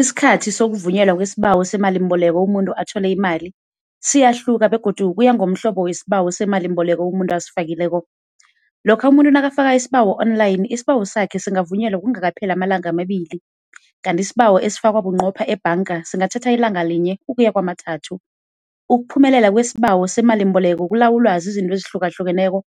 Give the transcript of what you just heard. Isikhathi sokuvunyelwa kwesibawo semalimboleko umuntu athole imali, siyahluka begodu kuyangomhlobo wesibawo semalimboleko umuntu asifakileko. Lokha umuntu nakafaka isibawo online, isibawo sakhe singavunyelwa kungakapheli amalanga amabili, kanti isibawo esifakwa bunqopha ebhanga singathatha ilanga linye ukuya kamathathu. Ukuphumelela kwesibawo semalimboleko kulawulwa zizinto ezihlukahlukeneko,